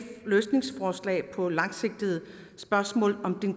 løsningsforslag på langsigtede spørgsmål